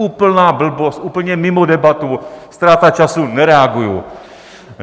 Úplná blbost, úplně mimo debatu, ztráta času, nereaguji.